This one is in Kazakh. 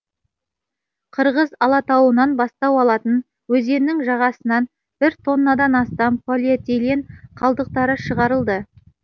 қырғыз алатауынан бастау алатын өзеннің жағасынан бір тоннадан астам полиэтилен қалдықтары шығарылды